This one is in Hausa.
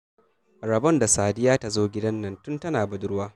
Rabon da Sadiya ta zo gidan nan tun tana budurwa